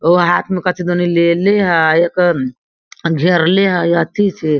ओ हाथ में कथी दन ने लेले हेय एकर घेरले हेय अथि से --